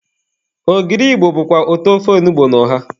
Ogiri Igbo bụkwa ụtọ ofe onugbu na ọha.